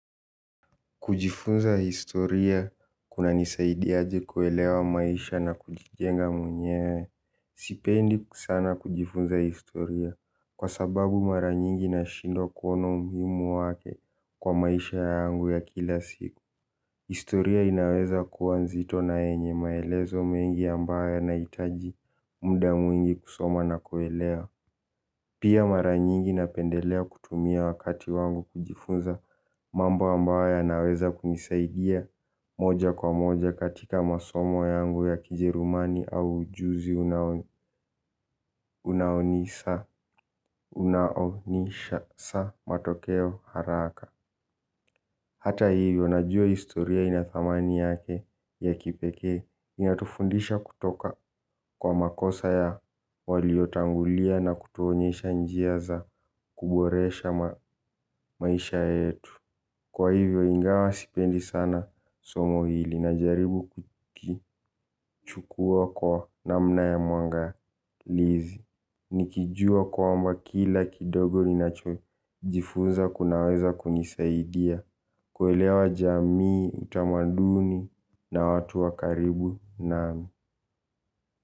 Kujifunza history kunanifunza kunanisaidia kuelewa maisha na kujijenga mwenyewe. Sipendi sana kujifunza historia, kwa sababu mara nyingi nashindwa kuona umuhimu wake kwa maisha yangu ya kila siku. Historia inaweza kuwa nzito na yenye maelezo mengi ambayo yanahitaji muda mwingi kusoma na kuelewa. Pia mara nyingi napendelea kutumia wakati wangu kujifunza mambo ambayo yanaweza kunisaidia moja kwa moja katika masomo yangu ya kijerumani au ujuzi. Unaonisha sa matokeo haraka. Hata hivyo, najua historia ina thamani yake ya kipekee, inatufundisha kutoka kwa makosa ya waliotangulia na kutuonyesha njia za kuboresha maisha yetu. Kwa hivyo, ingawa sipendi sana somo hili, najaribu kulichukua kwa namna ya mwangalizi. Nikijua kwamba kila kidogo ninachojifunza kinaweza kunisaidia. Kuelewa jamii, utamaduni na watu wa karibu nami.